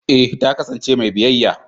eh ta kasance mai biyayya.